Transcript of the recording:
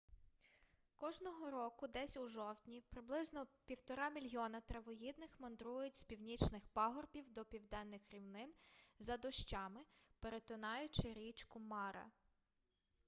кожного року десь у жовтні приблизно 1,5 мільйона травоїдних мандрують з північних пагорбів до південних рівнин за дощами перетинаючи річку мара